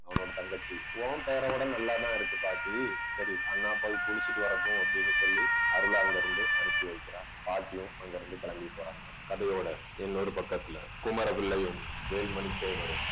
அவனோட தங்கச்சி உன் பேரை விட நல்லாதான் இருக்கு பாட்டி. சரி அண்ணா போய் குளிச்சிட்டு வரட்டும் அப்படின்னு சொல்லி அருளை அங்கிருந்து அனுப்பி வைக்கிறா பாட்டியும் அங்கிருந்து கிளம்பி போறாங்க. கதையோட இன்னொரு பக்கத்துல குமர பிள்ளையும் வேல்மணி தேவரும்